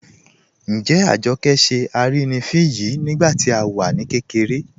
Njẹ́ Àjọkẹ́ ṣẹ́ arínifín yìí nígbàtí à wá kẹkẹ̀rẹ̀?